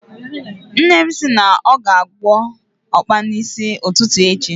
Nne m si na ọ ga-agwọ ọkpa n'isi ụtụtụ echi